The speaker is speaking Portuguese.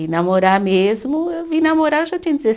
E namorar mesmo, eu vim namorar eu já tinha